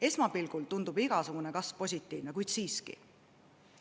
Esmapilgul tundub igasugune kasv positiivne, kuid siiski.